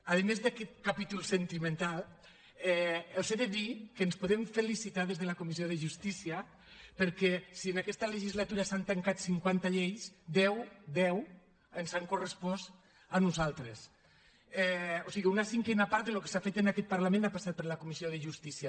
a més d’aquest capítol sentimental els he de dir que ens podem felicitar des de la comissió de justícia perquè si en aquesta legislatura s’han tancat cinquanta lleis deu deu ens han correspost a nosaltres o sigui una cinquena part del que s’ha fet en aquest parlament ha passat per la comissió de justícia